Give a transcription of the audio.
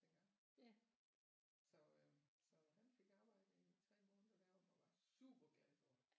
Dengang så øh så han fik arbejde i 3 måneder deroppe og var superglad for det